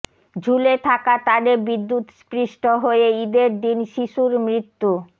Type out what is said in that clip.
ঝুলে থাকা তারে বিদ্যুৎস্পৃষ্ট হয়ে ঈদের দিন শিশুর মৃত্যু